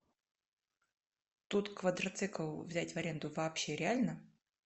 тут квадроцикл взять в аренду вообще реально